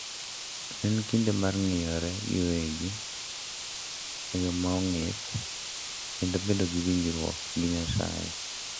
En kinde mar ng’iyore giwegi e yo ma ong'ith kendo bedo gi winjruok gi Nyasaye.